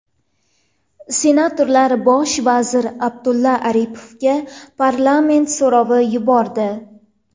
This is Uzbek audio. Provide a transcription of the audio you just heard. Senatorlar bosh vazir Abdulla Aripovga parlament so‘rovi yubordi.